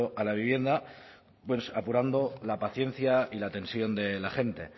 a la vivienda pues apurando la paciencia y la tensión de la gente